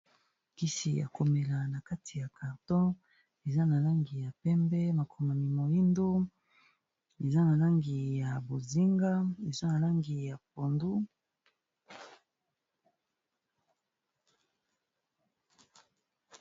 kisi ya komela na kati ya carton eza na langi ya pembe makomami moindo eza na langi ya bozinga eza na langi ya pondu